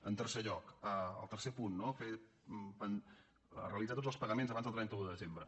en tercer lloc el tercer punt no realitzar tots els pa·gaments abans del trenta un de desembre